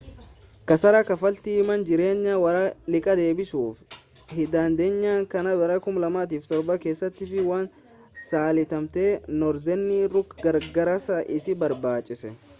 kasaara kaffaltii mana jireenya warra liqaa deebisuu hindandeenyee kan bara 2007 keessaatiif waan saaxilamteef noorzerni rook gargaarsa isii barbaachise.